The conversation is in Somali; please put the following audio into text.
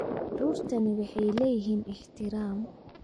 Carruurtani waxay leeyihiin ixtiraam